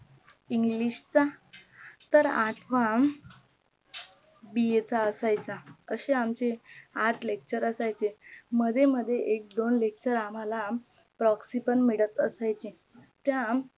ENGLISH चा तर आठवा BA चा असायचा अशे आमचे आठ lecture असायचे मध्ये मध्ये एक दोन lecture आम्हाला PROKSI पण मिळत असायचे त्या